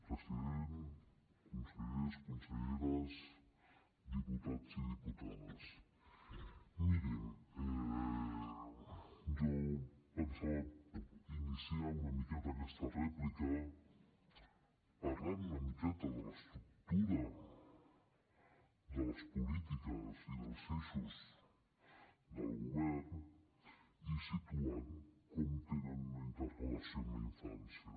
president consellers conselleres diputats i diputades mirin jo pensava iniciar aquesta rèplica parlant una miqueta de l’estructura de les polítiques i dels eixos del govern i situant com tenen una interrelació amb la infància